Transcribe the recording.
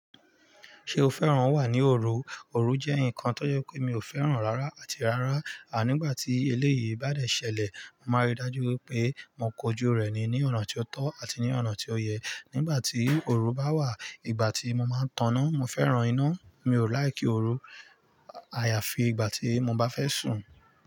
Ṣé o fẹ́ràn wà ní òru? Òru jẹ́ nǹkan tó jẹ́ pé mi ò fẹ́ràn rárá àti rárá, à nígbà tí eléyìí bá dẹ̀ ṣẹlẹ̀, máa rí dájú pé mò kójú rẹ̀ ni ní ọ̀nà tí ó tọ́ àti ní ọ̀nà tí ó yẹ. Nígbà tí òru bá wà, ìgbà tí mo máa ń tọ̀nọ́, mo fẹ́ràn iná, mi ò láìkí òru. Àyàfi ìgbà tí mo bá fẹ́ sùn.